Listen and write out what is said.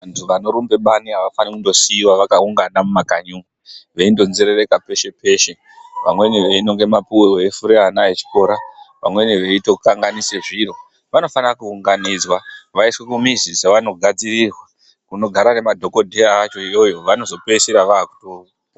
Vanhu vanorumbe bani avafane kundosiiwe vakaungana mumakanyi umu veindonzerereka peshe peshe vamweni veinonge mapuwe veifure vana vechikora vameni veitokanganise zviro, vanofana kuunganidzwa vaiswe kumizi dzavanogadzirirwa kunogara nemadhokodheya acho iyoyo vanopedzisira vatopora.